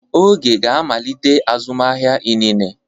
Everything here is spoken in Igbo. Oge ga-amalite azụmahịa inine.